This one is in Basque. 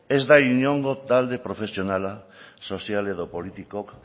ez da inongo talde profesionala sozial edo politikok